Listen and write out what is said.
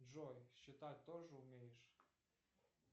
джой считать тоже умеешь